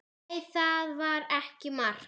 Nei, það var ekki mark.